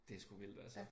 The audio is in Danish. Det sgu vildt altså